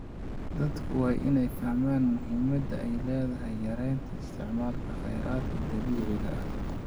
Dadku waa inay fahmaan muhiimadda ay leedahay yareynta isticmaalka kheyraadka dabiiciga ah.